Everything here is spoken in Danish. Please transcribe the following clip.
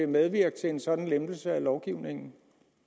medvirke til en sådan lempelse af lovgivningen